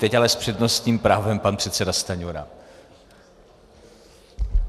Teď ale s přednostním právem pan předseda Stanjura.